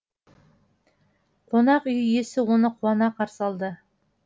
қонақ үй иесі оны қуана қарсы алды